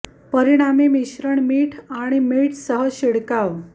परिणामी मिश्रण मीठ आणि मिठ मिठ सह शिडकाव